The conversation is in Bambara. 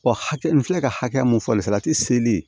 hakɛ n filɛ ka hakɛ mun fɔ salati seli